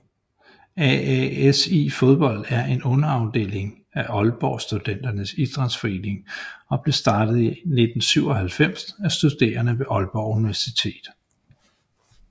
AASI Fodbold er en underafdeling af Aalborg Studenternes Idrætsforening og blev startet i 1997 af studerende ved Aalborg Universitet